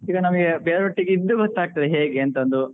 ಈಗ ನಮಿಗೆ ಬೇರೆವರೊಟ್ಟಿಗೆ ಇದ್ದ್ ಗೊತ್ತಾಗ್ತದೆ ಹೇಗೆ ಅಂತಂದು.